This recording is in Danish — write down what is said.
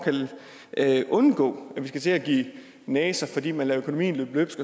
at undgå at vi skal til at give næser fordi man lader økonomien løbe løbsk